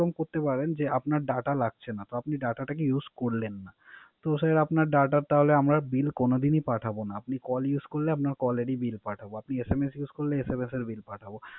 এরকম করতে পারেন আপনার Data লাগছে না। তো আপনি কে Data Use করলেন না। তো সেই Data র বিল আমরা কোন দিন ই পাঠাব না। আপনি Call use করলে আপনার Call ই বিল পাঠাব, SMS use করলে SMS এর বিল পাঠাব